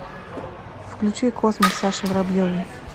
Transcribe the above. включи космос саши воробьевой